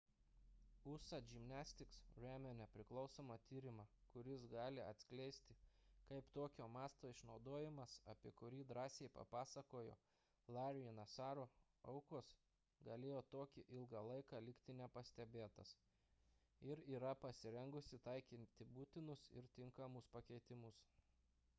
usa gymnastics remia nepriklausomą tyrimą kuris gali atskleisti kaip tokio masto išnaudojimas apie kurį drąsiai papasakojo larry'o nassaro aukos galėjo tokį ilgą laiką likti nepastebėtas ir yra pasirengusi taikyti būtinus ir tinkamus pakeitimus